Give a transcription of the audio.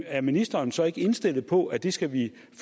er ministeren så ikke indstillet på at det skal vi